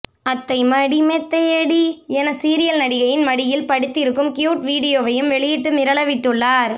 அத்தை மடி மெத்தையடி என சீரியல் நடிகையின் மடியில் படுத்திருக்கும் க்யூட் வீடியோவையும் வெளியிட்டு மிரள விட்டுள்ளார்